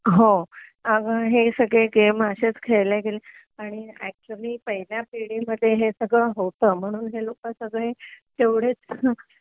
हो अगं हे सगळे गेम अशेच खेळले गेले आणि ऍक्च्युली पहिल्या पिढी मध्ये हे सगळं होत म्हणून हे लोक सगळे तेवढेच